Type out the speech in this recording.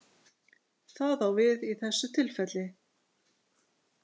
Það á við í þessu tilfelli.